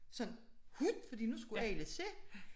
Sådan wup fordi nu skulle alle se